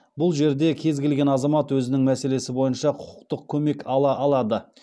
бұл жерде кез келген азамат өзінің мәселесі бойынша құқықтық көмек ала алады